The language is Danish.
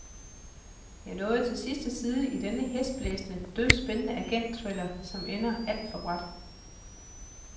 Jeg nåede til sidste side i denne hæsblæsende, dødspændende agentthriller, som ender alt for brat.